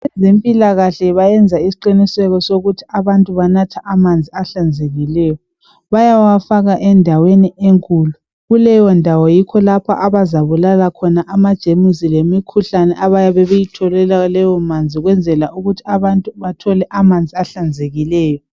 Abezempilakahle bayenza isiqiniseko sokuthi abantu banatha amanzi ahlanzekileyo. Bayawafaya endaweni enkulu. Kuleyondawo yikho lapho abazabulala khona amajemusi lemikhuhlane abayabe beyithole kulawomanzi ukwenzela ukuthi abantu bathole amanzi ahlanzekileyo.